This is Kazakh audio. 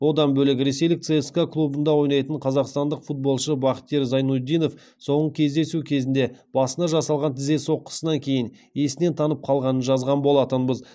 одан бөлек ресейлік цска клубында ойнайтын қазақстандық футболшы бахтиер зайнутдинов соңғы кездесу кезінде басына жасалған тізе соққысынан кейін есінен танып қалғанын жазған болатынбыз